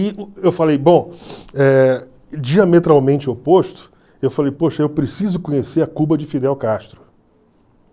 E eu falei, bom, eh diametralmente oposto, eu falei, poxa, eu preciso conhecer a Cuba de Fidel Castro.